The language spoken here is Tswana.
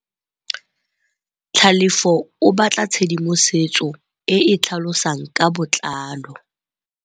Tlhalefô o batla tshedimosetsô e e tlhalosang ka botlalô.